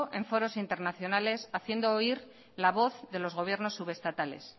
en foros internacionales haciendo oír la voz de los gobiernos subestatales